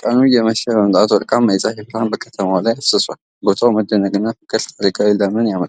ቀኑ እየመሸ በመምጣቱ ወርቃማ የፀሐይ ብርሃን በከተማዋ ላይ አፍስሷል። ቦታው መደነቅን ፍቅርንና ታሪካዊ ሰላምን ያመለክታል።